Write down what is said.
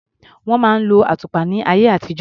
Wọ́n máa ń lo àtùpà láyé àtijó.